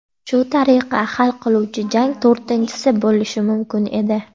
Shu tariqa hal qiluvchi jang to‘rtinchisi bo‘lishi mumkin edi.